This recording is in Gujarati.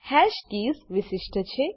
હાશ કીઝ વિશિષ્ટ છે